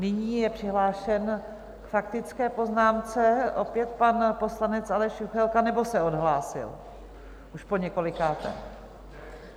Nyní je přihlášen k faktické poznámce opět pan poslanec Aleš Juchelka, nebo se odhlásil už poněkolikáté.